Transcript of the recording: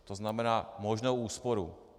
To znamená možnou úsporu.